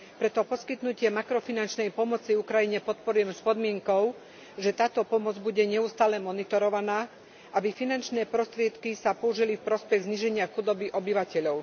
Preto poskytnutie makrofinančnej pomoci Ukrajine Parlament podporil s podmienkou, že táto pomoc bude neustále monitorovaná, aby sa finančné prostriedky použili v prospech zníženia chudoby obyvateľov.